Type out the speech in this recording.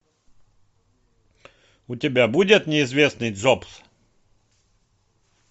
у тебя будет неизвестный джобс